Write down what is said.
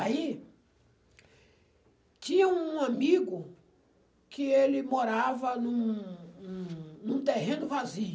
Aí, tinha um amigo que ele morava num num num terreno vazio.